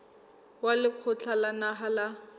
wa lekgotla la naha la